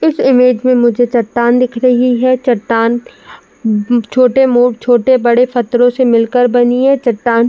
इस इमेज में मुझे चट्टान दिख रही है। चट्टान उम्म छोटे मो छोटे-बड़े पत्थरों से मिलकर बनी है। चट्टान --